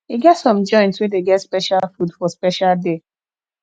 e get some joint wey dey get special food for special day